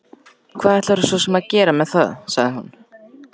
Hvað ætlarðu svo sem að gera með það, sagði hún.